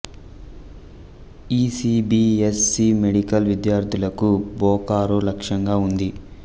ఇ C B S C medical విద్యార్థులకు బొకారో లక్ష్యంగా ఉంది